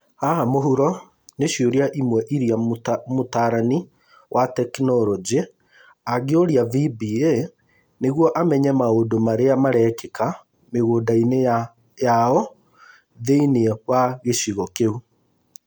Haha mũhuro nĩ ciũria imwe iria mũtaarani wa tekinoronjĩ angĩũria VBA nĩguo amenye maũndũ marĩa marekĩka mũgũnda-inĩ ya o thĩiniĩ wa gĩcigo kĩu.